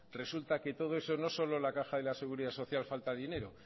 resulta que todo eso no solo en la caja de la seguridad social falta dinero